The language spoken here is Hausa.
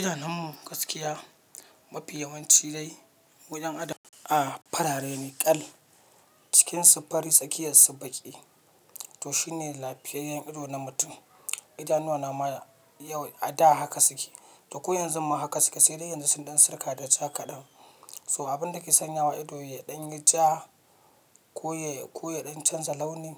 Idanunmu gaskiya mafi yawanci dai wajen adam a farare ne kal cikinsu fari tsakiyarsu baƙi. To shine lafiyayyen ido na mutum. Idanuwana ma ya yau a da haka suke, to ko yanzu ma haka suke sai dai yanzu sun ɗan sirka da ja kaɗan. So abin da ke sanyawa ido ya ɗan yi ja ko ya, ko ya ɗan canza launin,